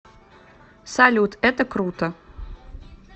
салют это круто